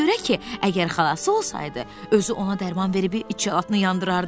Ona görə ki, əgər xalası olsaydı, özü ona dərman verib içə axrını yandırardı.